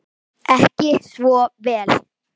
Ekki svo vel?